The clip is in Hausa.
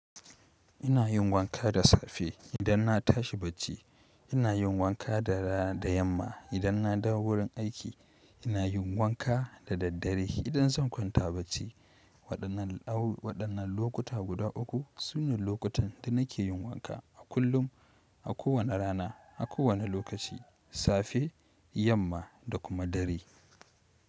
Ina yin wanka da safe idan na tashi bacci, ina yin wanka da raa da yamma idan na dawo wurin aiki, ina yin wanka da daddare idan zan kwanta bacci. Wadannan au-wadannan lokuta guda uku sune lokutan da nake yin wanka a kullum, a kowane rana, a kowane lokaci, safe, yamma da kuma dare.